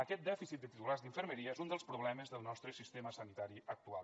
aquest dèficit de titulats d’infermeria és un dels problemes del nostre sistema sanitari actual